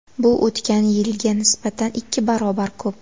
Bu o‘tgan yilga nisbatan ikki barobar ko‘p.